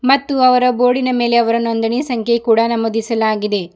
ಮತ್ತು ಅವರ ಬೋರ್ಡಿನ ಮೇಲೆ ಅವರ ನೊಂದಣಿ ಸಂಖ್ಯೆ ಕೂಡ ನಮೂದಿಸಲಾಗಿದೆ.